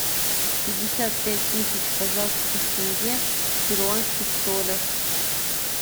пятьдесят пять тысяч казахских тенге в перуанских солях